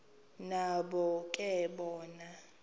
nabo ke bona